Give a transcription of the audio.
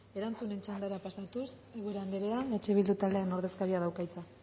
erantzunen txandara pasatuz ubera anderea eh bildu taldearen ordezkariak dauka hitza